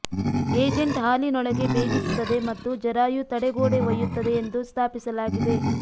agent ಹಾಲಿನೊಳಗೆ ಭೇದಿಸುತ್ತದೆ ಮತ್ತು ಜರಾಯು ತಡೆಗೋಡೆ ಒಯ್ಯುತ್ತದೆ ಎಂದು ಸ್ಥಾಪಿಸಲಾಗಿದೆ